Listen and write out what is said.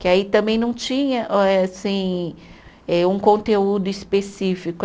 Que aí também não tinha, eh assim, eh um conteúdo específico.